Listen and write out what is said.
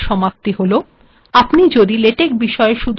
এখােনই এই িটউটোিরয়াল্ এর সমাপ্িত হল